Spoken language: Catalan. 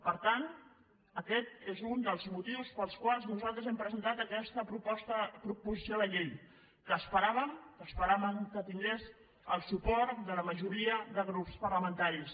per tant aquest és un dels motius pels quals nosaltres hem presentat aquesta proposició de llei que esperàvem esperàvem que tingués el suport de la majoria de grups parlamentaris